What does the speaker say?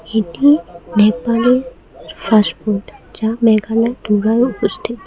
এটি ফাস্টফুড যা মেঘালয় অবস্থিত।